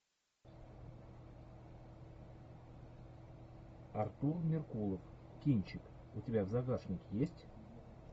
артур меркулов кинчик у тебя в загашнике есть